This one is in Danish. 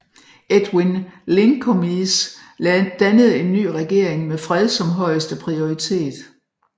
Edwin Linkomies dannede en ny regering med fred som højeste prioritet